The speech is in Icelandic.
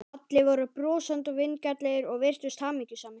Allir voru brosandi og vingjarnlegir og virtust hamingjusamir.